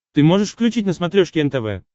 ты можешь включить на смотрешке нтв